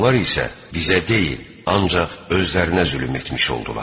Onlar isə bizə deyil, ancaq özlərinə zülm etmiş oldular.